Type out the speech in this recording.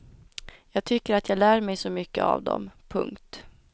Jag tycker att jag lär mig så mycket av dem. punkt